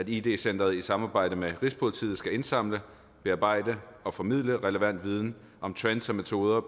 id center i samarbejde med rigspolitiet skal indsamle bearbejde og formidle relevant viden om trends og metoder